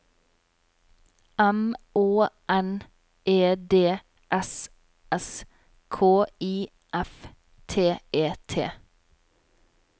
M Å N E D S S K I F T E T